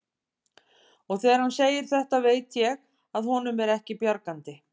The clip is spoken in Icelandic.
Og þegar hann segir þetta veit ég að honum er ekki við bjargandi.